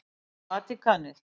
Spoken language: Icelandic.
Vatíkanið